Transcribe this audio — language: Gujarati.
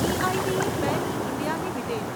e I D Parry India limited